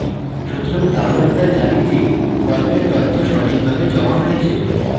সুতরাং তাহলে আমরা জানি যে ফর্মের তথ্য সঠিকভাবে জমা হয়েছে